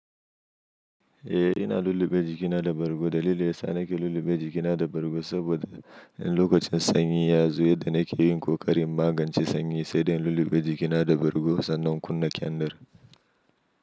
Eh ina lullube jikina da bargo. Dalilin ya sa nake lullube jikina da bargo saboda in lokacin sanyi ya zo yadda nake yin ƙoƙarin magance sanyi sai dai in lullube jikina da bargo sannan kunna kyandar.